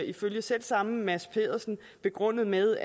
ifølge selv samme mads pedersen begrundet med